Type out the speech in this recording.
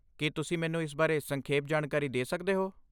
ਕੀ ਤੁਸੀਂ ਮੈਨੂੰ ਇਸ ਬਾਰੇ ਸੰਖੇਪ ਜਾਣਕਾਰੀ ਦੇ ਸਕਦੇ ਹੋ?